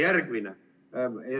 Järgmine.